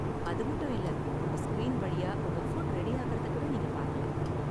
அது மட்டும் இல்ல, உங்க ஸ்கிரீன் வழியா உங்க ஃபுட் ரெடி ஆகுறத கூட நீங்க பாக்கலாம்.